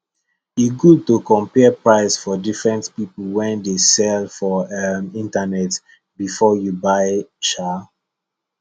e good to compare price for diferent people wey dey sell for um internet before you buy um